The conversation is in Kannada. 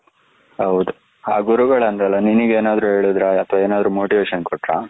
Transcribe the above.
ಆ ಗುರುಗಳ ಅಂದಲ್ಲ ನಿನಗೆನಾದ್ರು ಹೇಳಿದ್ರೆ ಅತ್ವ ನಿನಗೇನಾದ್ರೂ motivation ಕೊಟ್ಟರಾ?